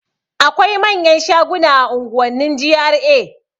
Akwai manyan shaguna a unguwannin GRA